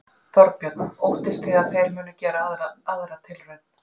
Þorbjörn: Óttist þið að þeir munu gera aðra tilraun?